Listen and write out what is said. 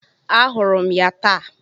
Ahụrụ m ya taa.